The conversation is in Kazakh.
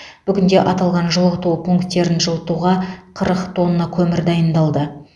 бүгінде аталған жылыту пункттерін жылытуға қырық тонна көмір дайындалды